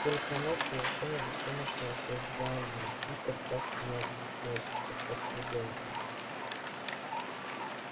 только она совершенно беспомощное создание питер так к ней относится как к ребёнку